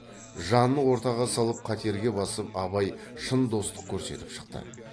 жанын ортаға салып қатерге басып абай шын достық көрсетіп шықты